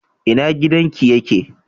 Ina gidan ki ye ke?